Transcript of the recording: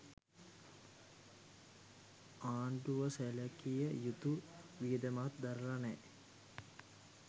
ආණ්ඩුව සැළකිය යුතු වියදමක් දරල නෑ